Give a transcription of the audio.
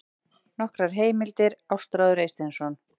Nokkrar heimildir: Ástráður Eysteinsson.